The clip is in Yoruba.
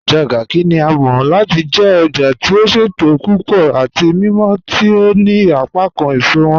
Ojá Garki ni à mọ̀ láti jẹ̀ òjá tí ó ṣétò púpọ̀ àti mímọ̀ tí ó ní apákán èṣọ wọn